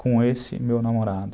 com esse meu namorado.